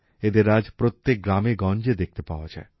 এদের আজ প্রত্যেক গ্রামেগঞ্জে দেখতে পাওয়া যায়